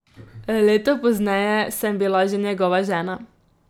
Leto pozneje sem bila že njegova žena.